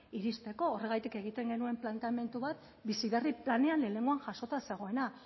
iristeko horregatik egiten genuen planteamendu bat bizi berri planean lehenengoan jasota zegoena